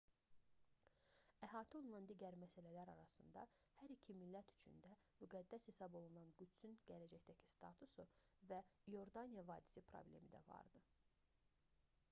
əhatə olunan digər məsələlər arasında hər iki millət üçün də müqəddəs hesab olunan qüdsün gələcəkdəki statusu və i̇ordaniya vadisi problemi də vardı